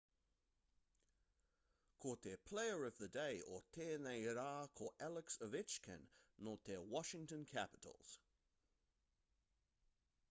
ko te player of the day o tēnei rā ko alex ovechkin nō te washington capitals